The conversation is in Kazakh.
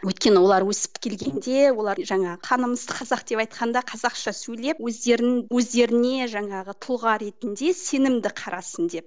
өйткені олар өсіп келгенде олар жаңағы қанымыз қазақ деп айтқанда қазақша сөйлеп өздерін өздеріне жаңағы тұлға ретінде сенімді қарасын деп